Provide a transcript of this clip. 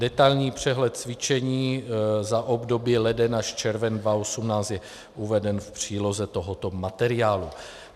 Detailní přehled cvičení za období leden až červen 2018 je uveden v příloze tohoto materiálu.